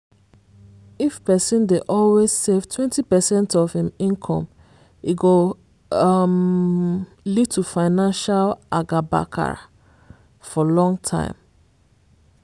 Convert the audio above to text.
if person dey always save 20 percent of im income e go um lead to financial agabakara for long time.